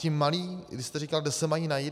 Ti malí - vy jste říkal, kde se mají najít.